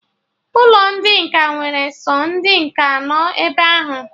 Ụlọ ndị nkà nwere sọ ndị nkà anọ ebe ahụ